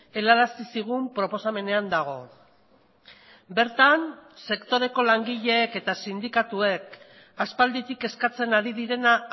helarazi zigun proposamenean dago bertan sektoreko langileek eta sindikatuek aspalditik eskatzen ari direna